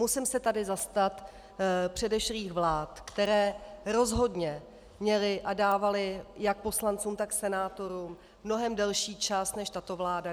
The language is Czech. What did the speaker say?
Musím se tady zastat předešlých vlád, které rozhodně měly a dávaly jak poslancům, tak senátorům mnohem delší čas než tato vláda.